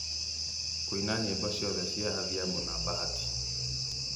kũina nyĩmbo ciothe cia adhiambo na bahati